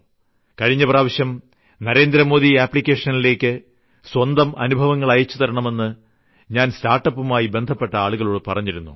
കഴിഞ്ഞ പ്രാവശ്യം നരേന്ദ്ര മോദിആപ്ലിക്കേഷനിലേയ്ക്ക് സ്വന്തം അനുഭവങ്ങൾ അയച്ചുതരണമെന്ന് ഞാൻ സ്റ്റാർട്ട്അപ്പുമായി ബന്ധപ്പെട്ട ആളുകളോട് പറഞ്ഞിരുന്നു